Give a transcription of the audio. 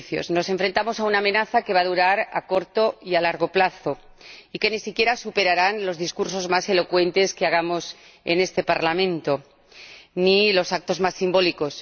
Nos enfrentamos a una amenaza que va a durar a corto y a largo plazo, y que ni siquiera superarán los discursos más elocuentes que hagamos en este Parlamento ni los actos más simbólicos.